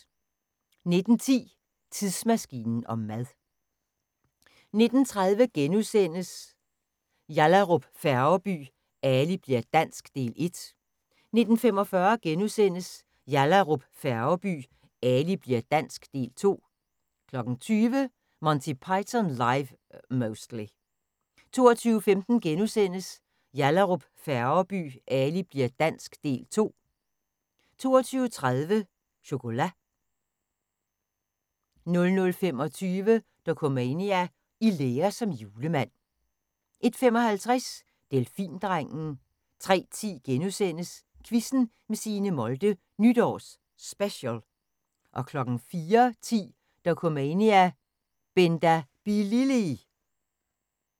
19:10: Tidsmaskinen om mad 19:30: Yallahrup Færgeby: Ali bli'r dansk – Del 1 * 19:45: Yallahrup Færgeby: Ali bli'r dansk – Del 2 * 20:00: Monty Python Live (Mostly) 22:15: Yallahrup Færgeby: Ali bli'r dansk – Del 2 * 22:30: Chocolat 00:25: Dokumania: I lære som julemand 01:55: Delfindrengen 03:10: Quizzen med Signe Molde – Nytårs Special * 04:10: Dokumania: Benda Bilili!